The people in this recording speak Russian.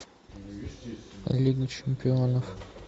лига чемпионов